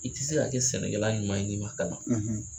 I ti se ka kɛ sɛnɛkɛla ɲuman ye n'i ma kalan.